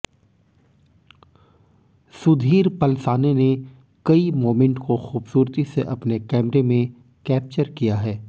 सुधीर पलसाने ने कई मोमेंट को खूबसूरती से अपने कैमरे में कैप्चर किया है